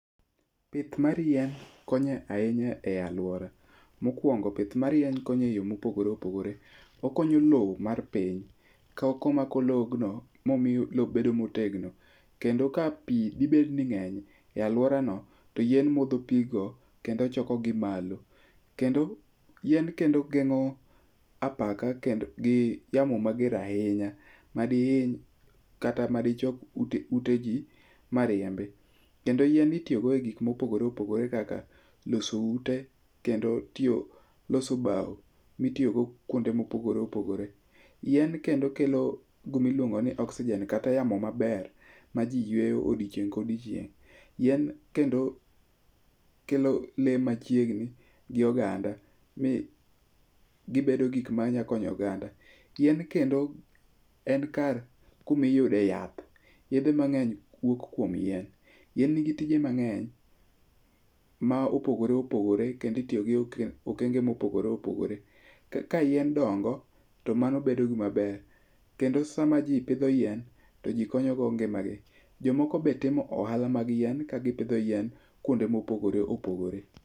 Pith mar yien konyo ahinya e aluora, mokuongo pith mar yien konyo eyo mopogore opogore. Okonyo lowo mar piny komako lobno, momiyo lowo bedo motegno. Kendo ka pi dhibet ni ng'eny e aluorano, to yien modho pigno, kendo chokogi malo. Kendo yien kendo geng'o apaka gi yamo mager ahinya madihiny kata madichok ute ji mariembi. Kendo yien itiyogo egik mopogore opogore kaka loso ute kendo tiyo loso bao mitiyogo kuonde mopogore opogore. Yien kendo kelo gima iluongo ni oxygen kata yamo maber maji yueyo odiechieng' ka odiechieng'. Yien kendo kelo lee machiegni gi oganda mi gibedo gik ma nyalo konyo oganda. Yien kendo en kar kumiyude yath. Yedhe mang'eny wuok kuom yien. Yien nigi tije mang'eny ma opogore opogore kendo itiyo kodgi e okenge mopogore opogore. Ka yien dongo to mano bedo gima ber. Kendo sama ji pidho yien, to ji konyogo ngimagi. Jomoko be timo ohala mag yien ka gipidho yien kuonde mopogore opogore.